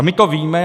A my to víme.